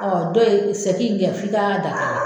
dɔ ye seki in kɛ f'i ka da kala.